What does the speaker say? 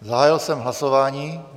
Zahájil jsem hlasování.